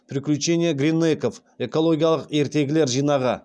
приключения гринэйков экологиялық ертегілер жинағы